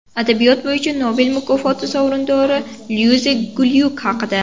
Adabiyot bo‘yicha Nobel mukofoti sovrindori Luiza Glyuk haqida.